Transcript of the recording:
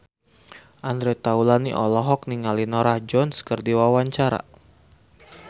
Andre Taulany olohok ningali Norah Jones keur diwawancara